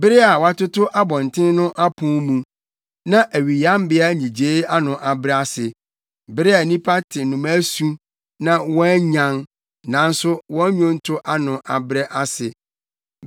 bere a wɔatoto abɔnten no apon mu na awiyambea nnyigyei ano abrɛ ase; bere a nnipa te nnomaa su na wɔanyan, nanso wɔn nnwonto ano abrɛ ase;